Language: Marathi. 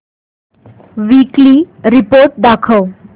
वीकली रिपोर्ट दाखव